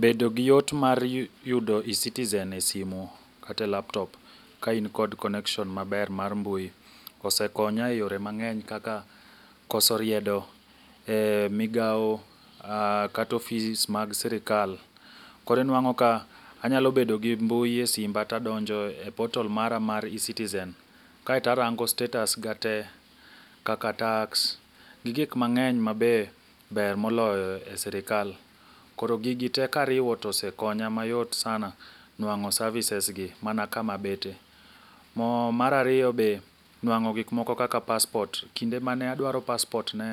Bedo gi yot mar yu yudo ecitizen e simu kate laptop ka in kod connection maber mar mbui, osekonya e yore mang'eny kaka koso riedo eh migao kata office mag sirikal. Koro inwang'o ka anyalo bedo gi mbui e simba kae tadonjo e porta l mara mar eCitizen, kae tarango status ga tee kaka tax, gi gik mang'eny mabe ber moloyo e sirkal. Koro gigo tee kariwo tosekonya mayot sana nwang'o services gi mana kamabete. Mo marario be, nwang'o gik moko kaka passport. Kinde mane adwaro passport ne